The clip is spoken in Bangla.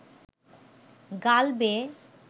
গাল বেয়ে